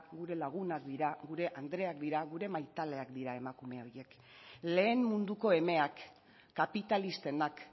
gure lagunak dira gure andreak dira gure maitaleak dira emakume horiek lehen munduko emeak kapitalistenak